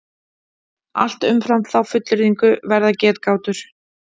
Allt umfram þá fullyrðingu verða getgátur.